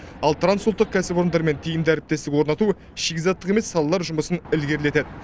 ал трансұлттық кәсіпорындармен тиімді әріптестік орнату шикізаттық емес салалар жұмысын ілгерілетеді